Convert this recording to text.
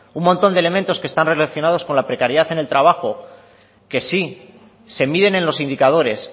un montón de elementos que están relacionados con la precariedad en el trabajo que sí se miden en los indicadores